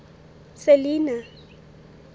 selinah